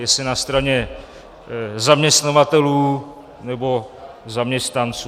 Jestli na straně zaměstnavatelů, nebo zaměstnanců.